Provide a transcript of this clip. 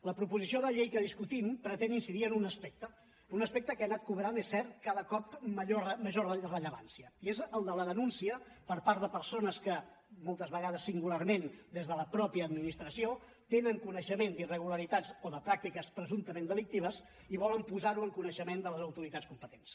la proposició de llei que discutim pretén incidir en un aspecte un aspecte que ha anat cobrant és cert cada cop major rellevància i és el de la denúncia per part de persones que moltes vegades singularment des de la mateixa administració tenen coneixement d’irregularitats o de pràctiques presumptament delictives i volen posar ho en coneixement de les autoritats competents